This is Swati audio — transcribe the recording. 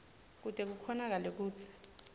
kute kukhonakale kutsi